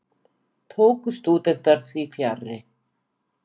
Tóku stúdentar því fjarri.